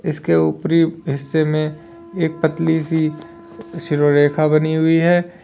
इसके ऊपरी हिस्से में एक पतली सी सिरोरेखा बनी हुई है।